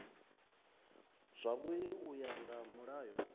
zwavhui u ya nga mulayo